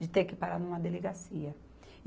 de ter que parar numa delegacia.